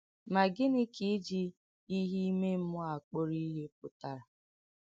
Mà gị̀ní kà ìjì ìhé ìmè m̀múọ̀ àkpọ̀rọ̀ ìhé pùtàrà?